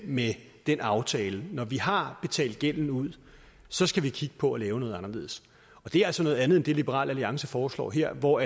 med den aftale når vi har betalt gælden ud så skal vi kigge på at lave noget anderledes og det er altså noget andet end det liberal alliance foreslår her hvor